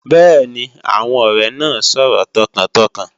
Bẹ́ẹ̀ni, àwọn ọrẹ́ naay sọ̀rọ̀ tọkàntọkàn